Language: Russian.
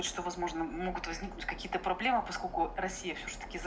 что возможно могут возникнуть какие-то проблемы поскольку россия всё ж таки за